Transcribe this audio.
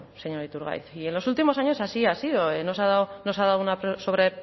señor iturgaiz y en los últimos años así ha sido no se ha dado no se ha dado sobre